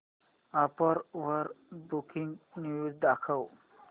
app वर breaking news दाखव